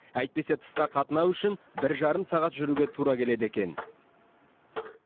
әйтпесе тысқа қатынау үшін бір жарым сағат жүруге тура келеді екен